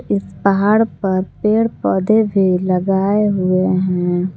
पहाड़ पर पेड़ पौधे भी लगाए हुए हैं।